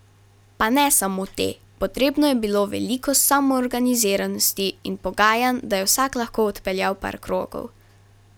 Pa ne samo te, potrebno je bilo veliko samoorganiziranosti in pogajanj, da je vsak lahko odpeljal par krogov.